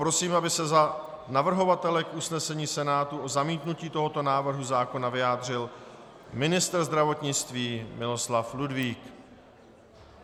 Prosím, aby se za navrhovatele k usnesení Senátu o zamítnutí tohoto návrhu zákona vyjádřil ministr zdravotnictví Miloslav Ludvík.